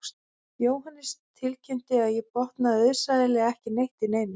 Jóhannes tilkynnti að ég botnaði auðsæilega ekki neitt í neinu